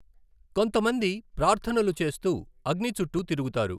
కొంతమంది ప్రార్థనలు చేస్తూ అగ్ని చుట్టూ తిరుగుతారు.